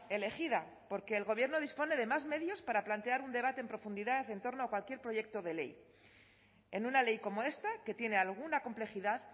elegida porque el gobierno dispone de más medios para plantear un debate en profundidad en torno a cualquier proyecto de ley en una ley como esta que tiene alguna complejidad